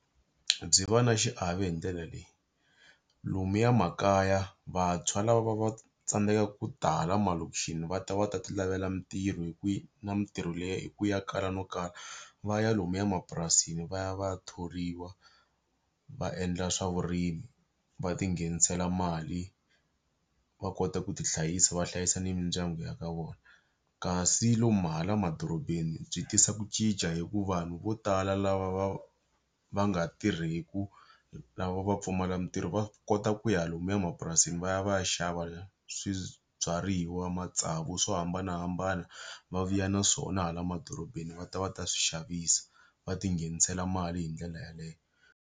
Byi va na xiave hi ndlela leyi. Lomuya makaya vantshwa lava va tsandzekaka ku tala hala malokisxini va ta va ta ti lavela mintirho na mintirho leyi hikuva ya kala no kala, va ya lomuya mapurasini va ya va ya thoriwa. Va endla swa vurimi va ti nghenisela mali va kota ku ti hlayisa va hlayisa mindyangu ya ka vona. Kasi lomu hala emadorobeni byi tisa ku cinca hikuva vanhu vo tala lava va va nga tirheki lava va pfumalaka mintirho va kota ku ya lomuya mapurasini va ya va ya xava swibyariwa, matsavu, swo hambanahambana, va vuya na swona hala madorobeni va ta va ta swi xavisa. Va ti nghenisela mali hi ndlela yaleyo.